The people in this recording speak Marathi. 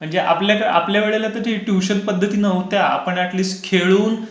आपल्या वेळेला तर ती ट्यूशन पध्दती नव्हत्या. आपण अॅट लिस्ट खेळून